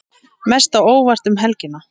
Mest á óvart um helgina?